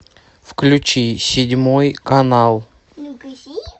включи седьмой канал